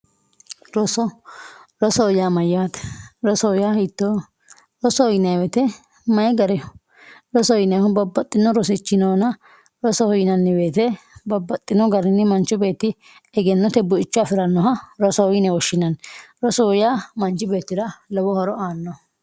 roso rosoho yaa mayaate rosoho yaa hittooho rosoho yinayiwote may gariho rosoho yinayiwote babbaxino rosichi noona rosoho yinani woyiite babbaxino garinni manchu beetti egennote bu"icho afirannoha rosoho yine woshshinanni rosoho yaa manch beettira lowo horo aanoho.